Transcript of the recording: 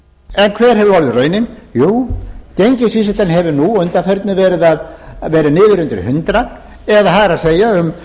en hver hefur orðið raunin jú gengisvísitalan hefur að undanförnu verið niður undir hundrað það er um